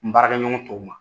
N baarakɛ ɲɔgɔnw ma.